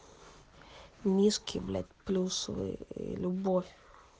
низкий блять плюс вы любовь